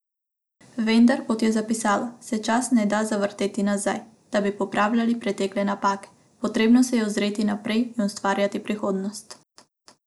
Vendar, kot je zapisala, se časa ne da zavrteti nazaj, da bi popravljali pretekle napake, potrebno se je ozreti naprej in ustvarjati prihodnost.